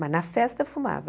Mas na festa fumava.